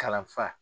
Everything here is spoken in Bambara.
Kalanfa